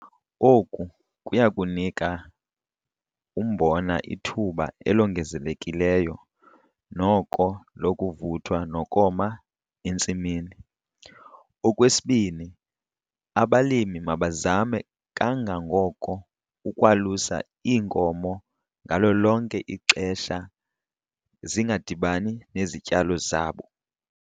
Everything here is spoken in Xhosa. Oku kuya kunika umbona ithuba elongezelekileyo noko lokuvuthwa nokoma entsimini. Okwesibini, abalimi mabazame kangangoko ukwalusa iinkomo ngalo lonke ixesha zingadibani nezityalo zabo.